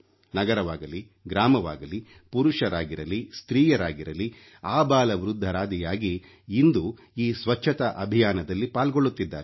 ನಗರವಾಗಲಿ ಗ್ರಾಮವಾಗಲಿ ಪುರುಷರಾಗಿರಲಿ ಸ್ತ್ರೀಯರಾಗಿರಲಿ ಅಬಾಲವೃದ್ಧರಾದಿಯಾಗಿ ಇಂದು ಈ ಸ್ವಚ್ಛತಾ ಅಭಿಯಾನದಲ್ಲಿ ಪಾಲ್ಗೊಳ್ಳುತ್ತಿದ್ದಾರೆ